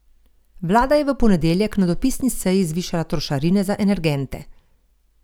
Vlada je v ponedeljek na dopisni seji zvišala trošarine za energente.